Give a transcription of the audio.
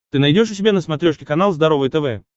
ты найдешь у себя на смотрешке канал здоровое тв